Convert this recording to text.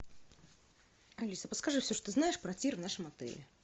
алиса подскажи все что знаешь про тир в нашем отеле